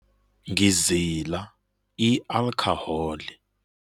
Ngizila i-alkhoholi.